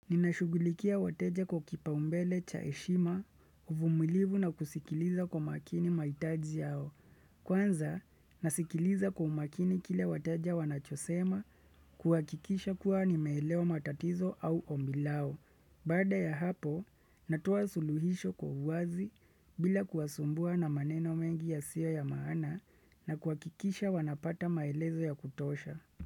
Ninashugulikia wateja kwa kipaumbele cha heshima, uvumilivu na kusikiliza kwa makini maitaji yao. Kwanza, nasikiliza kwa umakini kile wateja wanachosema kuhakikisha kuwa nimeelewa matatizo au ombi lao. Baada ya hapo, natoa suluhisho kwa uwazi bila kuwasumbua na maneno mengi yasiyo ya maana na kuwakikisha wanapata maelezo ya kutosha.